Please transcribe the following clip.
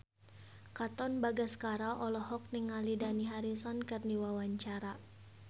Katon Bagaskara olohok ningali Dani Harrison keur diwawancara